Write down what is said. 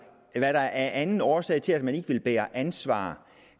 hvad der er af anden årsag til at man ikke ville bære ansvaret